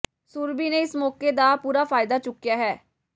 ਸੁਰਭੀ ਨੇ ਇਸ ਮੌਕੇ ਦਾ ਪੂਰਾ ਫਾਇਦਾ ਚੁੱਕਿਆ ਹੈ